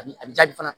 A bi a bi jaabi fana